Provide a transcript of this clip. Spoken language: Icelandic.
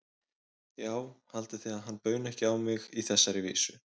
Já, haldið þið að hann bauni ekki á mig þessari vísu?